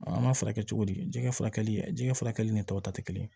An b'a furakɛ cogo di jɛgɛ furakɛli jɛgɛ ni tɔw ta tɛ kelen ye